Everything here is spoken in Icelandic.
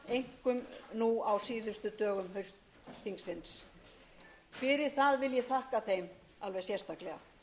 einkum nú á síðustu dögum haustþingsins fyrir það vil ég þakka þeim alveg sérstaklega